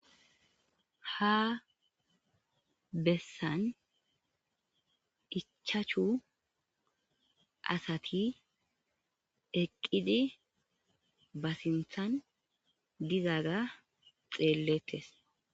Ha bessan ichaachu asati eqqidi basinthan dizaga xeellettes.